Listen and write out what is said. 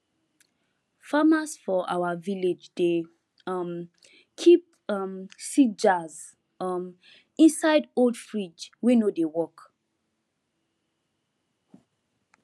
farmers for our village dey um keep um seed jars um inside old fridge wey no dey work